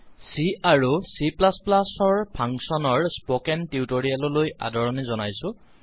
C আৰু C ৰ function functions in C and চিৰ স্পকেন টিউটৰিয়েল লৈ আদৰণি জনাইছো